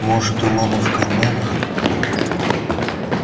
может у мамы в карманах